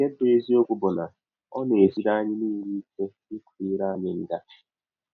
Nke bụ́ eziọkwụ bụ na ọ na - esiri anyị niile ike ịkwa ire anyị nga.